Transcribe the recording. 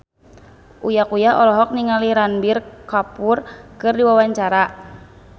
Uya Kuya olohok ningali Ranbir Kapoor keur diwawancara